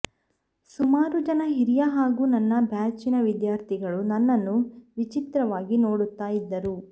ಸುಮಾರುಜನ ಹಿರಿಯ ಹಾಗು ನನ್ನ ಬ್ಯಾಚಿನ ವಿದ್ಯಾರ್ಥಿಗಳು ನನ್ನನ್ನು ವಿಚಿತ್ರವಾಗಿ ನೋಡುತ್ತ ಇದ್ದರು